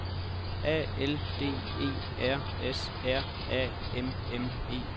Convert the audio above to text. A L D E R S R A M M E